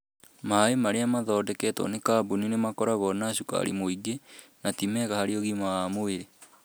Maĩ maria mathondeketwo nĩ kambuni nĩ makoragwo na cukari mũingĩ, na ti mega harĩ ũgima wa mwĩrĩ.